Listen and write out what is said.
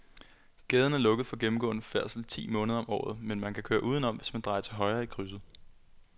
Gaden er lukket for gennemgående færdsel ti måneder om året, men man kan køre udenom, hvis man drejer til højre i krydset.